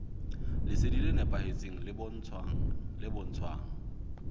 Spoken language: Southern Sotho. lesedi le nepahetseng le bontshang